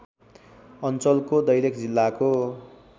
अञ्चलको दैलेख जिल्लाको